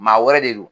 Maa wɛrɛ de don